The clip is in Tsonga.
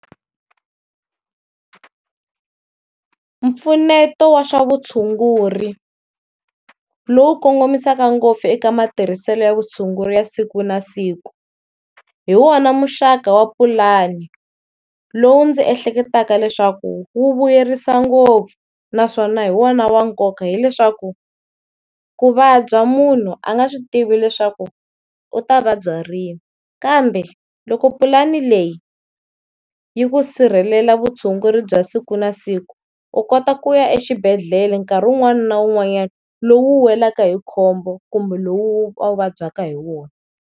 Mpfuneto wa swa vutshunguri, lowu kongomisaka ngopfu eka matirhiselo ya vutshunguri ya siku na siku, hi wona muxaka wa pulani lowu ndzi ehleketaka leswaku wu vuyerisa ngopfu naswona hi wona wa nkoka hileswaku ku vabya munhu a nga swi tivi leswaku u ta vabya rini, kambe loko pulani leyi yi ku sirhelela vutshunguri bya siku na siku u kota ku ya exibedhlele nkarhi wun'wana na wun'wanyana lowu u welaka hi khombo kumbe lowu a wu vabyaka hi wona.